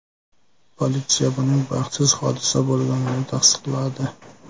Politsiya buning baxtsiz hodisa bo‘lganini tasdiqladi.